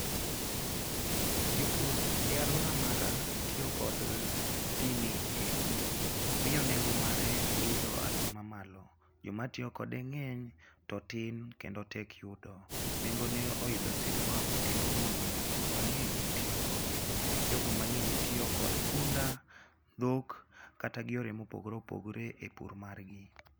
Jopur e alwora mara tiyo kod gini ei pur, miyo nengo mare idho e hatua mamalo. Jomatiyo kode ng'eny, to otin kendo tek yudo. Nengone oidho sipwap kendo mono jopur mang'eny tiyo kode. Jogo mang'eny tiyo kod punda, dhok kata gi yore mopogore opogore e pur margi.